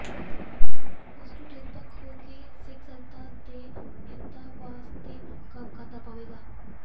ਉਸ ਨੂੰ ਨਿਰਪੱਖ ਹੋ ਕੇ ਸਿੱਖ ਸੰਗਤ ਦੇ ਹਿੱਤਾਂ ਵਾਸਤੇ ਕੰਮ ਕਰਨਾ ਪਵੇਗਾ